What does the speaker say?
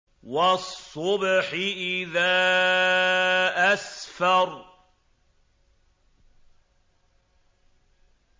وَالصُّبْحِ إِذَا أَسْفَرَ